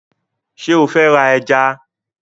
Ṣé o fẹ́ ra ẹja?